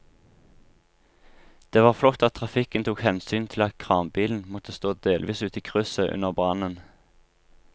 Det var flott at trafikken tok hensyn til at kranbilen måtte stå delvis ute i krysset under brannen.